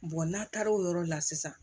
n'a taara o yɔrɔ la sisan